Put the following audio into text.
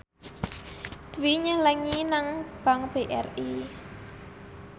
Dwi nyelengi nang bank BRI